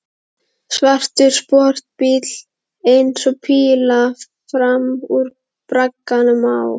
Svartur sportbíll eins og píla fram úr bragganum á